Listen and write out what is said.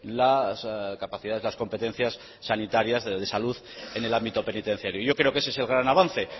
las capacidades las competencias sanitarias de salud en el ámbito penitenciario yo creo que ese es el gran avance